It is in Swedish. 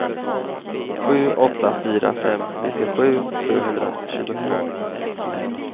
sju åtta fyra fem nittiosju sjuhundratjugotvå